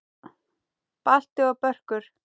Balti og Börkur!